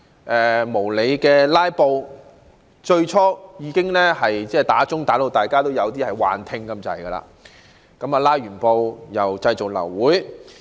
他們最初無理"拉布"時，傳召鐘鳴響至大家幾近出現幻聽，在"拉布"過後又製造流會。